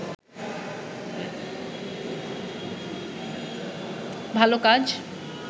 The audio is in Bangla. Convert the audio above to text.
ভাল কাজ